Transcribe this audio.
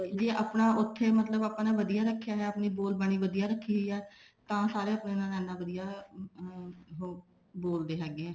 ਜੇ ਆਪਣਾ ਉੱਥੇ ਮਤਲਬ ਆਪਣਾ ਵਧੀਆ ਰੱਖਿਆ ਹੋਇਆ ਬੋਲ ਬਾਣੀ ਵਧੀਆ ਰੱਖੀ ਹੋਈ ਆ ਤਾਂ ਸਾਰੇ ਆਪਣੇ ਨਾਲ ਇੰਨਾ ਵਧੀਆ ਬੋਲਦੇ ਹੈਗੇ ਆ